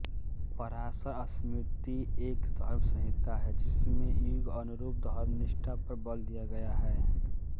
पराशर स्मृति एक धर्मसंहिता है जिसमें युगानुरूप धर्मनिष्ठा पर बल दिया गया है